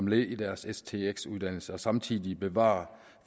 led i deres stx uddannelse og samtidig bevare